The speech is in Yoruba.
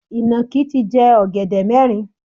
Ìnàkí ti jẹ ọ̀gẹ̀dẹ̀ mẹ́rin.